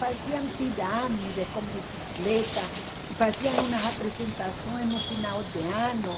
Faziam pirâmides com bicicleta e faziam umas apresentações no final de ano.